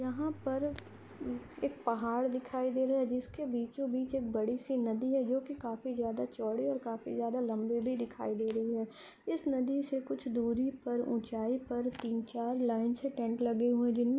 यहाँ पर एक पहाड़ दिखाई दे रहा है जिसके बीचो-बीच एक बड़ी सी नदी है जो की काफी ज्यादा चोड़ी और काफी ज्यादा लम्बी भी दिखाई दे रही है इस नदी से कुछ दुरी पर उचाई पर तीन-चार लाइन से टेंट लगे हुए है।